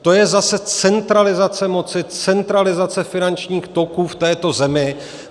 To je zase centralizace moci, centralizace finančních toků v této zemi.